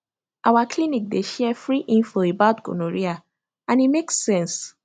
our clinic dey share free info about gonorrhea and e make sense